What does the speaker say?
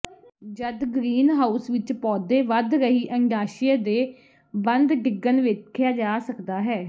ਜਦ ਗਰੀਨਹਾਊਸ ਵਿੱਚ ਪੌਦੇ ਵਧ ਰਹੀ ਅੰਡਾਸ਼ਯ ਦੇ ਬੰਦ ਡਿੱਗਣ ਵੇਖਿਆ ਜਾ ਸਕਦਾ ਹੈ